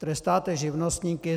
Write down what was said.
Trestáte živnostníky.